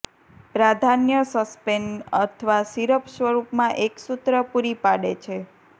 પ્રાધાન્ય સસ્પેન્શન અથવા સીરપ સ્વરૂપમાં એક સૂત્ર પૂરી પાડે છે